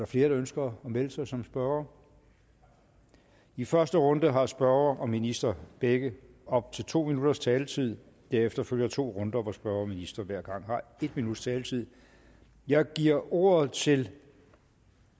flere der ønsker at melde sig som spørgere i første runde har spørger og minister begge op til to minutters taletid derefter følger to runder hvor spørger og minister hver gang har en minuts taletid jeg giver ordet til